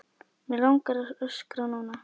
Mig langar að öskra núna.